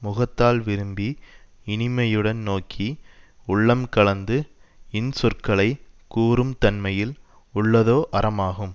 முகத்தால் விரும்பி இனிமையுடன் நோக்கி உள்ளம் கலந்து இன்சொற்களைக் கூறும் தன்மையில் உள்ளதோ அறமாகும்